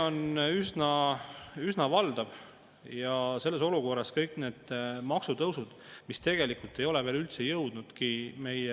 Inimene ütleb, et kui ta enne suutis oma säästukontole säästa 200–300 eurot kuus, siis säästmisest ta enam üldse ei räägi, sisuliselt on tal iga kuu palgapäevaks puudu 100–120 eurot, ja ta on ära lõpetanud kõik, mis on võimalik olnud.